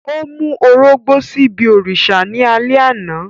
O mu orogbó sibi òrìṣà ni alẹ ana.